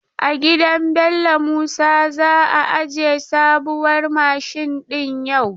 A gidan Bello Musa za a aje sabuwar mashin din yau.